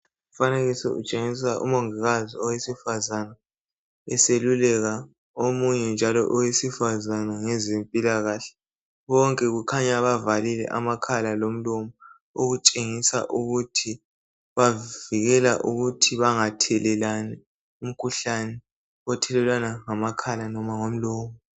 Umfanekiso utshengisa umongikazi owesifazane eseluleka omunye njalo owesifazane ngezempilakahle , bonke kukhanya bavalile amakhala lomlomo okutshengisa ukuthi bavikela ukuthi bangathelelani umkhuhlane othelelwana ngamakhala noma ngomlomo